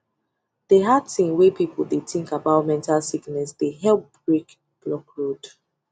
dey hard thing wey people dey think about mental sickness dey help break block road